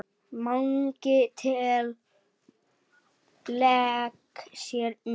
Mangi lék sér með.